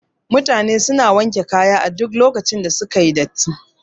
Mutane suna wanke kaya duk lokacin da suka yi datti